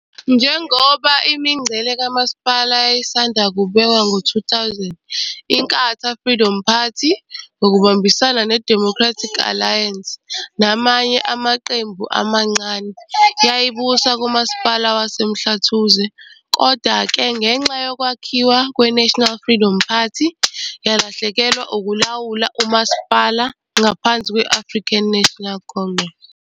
Njengoba imingcele kamasipala yayisanda kubekwa ngo-2000, i-Inkatha Freedom Party, IFP, ngokubambisana ne-Democratic Alliance, DA, namanye amaqembu amancane, yayibusa kuMasipala wase-Mhlathuze. Kodwa-ke, ngenxa yokwakhiwa kwe-National Freedom Party, i-IFP yalahlekelwa ukulawula uMasipala ngaphansi kwe-I-African National Congress, ANC.